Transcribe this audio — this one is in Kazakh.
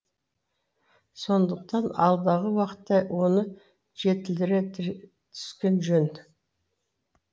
сондықтан алдағы уақытта оны жетілдіре түскен жөн